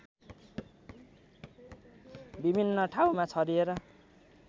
विभिन्न ठाउँमा छरिएर